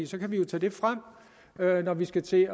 så kan vi jo tage det frem når vi skal til